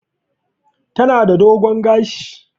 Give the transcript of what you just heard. Tana da dogon gashi.